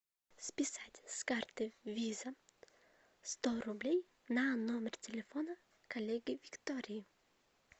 списать с карты виза сто рублей на номер телефона коллеги виктории